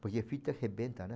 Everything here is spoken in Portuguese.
Porque a fita arrebenta, né?